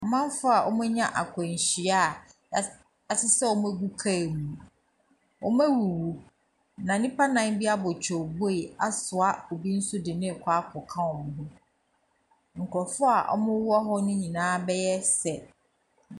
Amanfoɔ a wɔanya akwanhyia a wɔas wɔasesa wɔn agu car mu. Wɔawuwu, na nnipa nnan bi abɔ twooboi asoa obi nso de no rekɔ akɔka wɔn ho. Nkurɔfoɔ a wɔwɔ hɔ no nyinaa bɛyɛ sɛ .